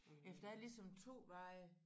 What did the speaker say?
Ja for der er ligesom 2 veje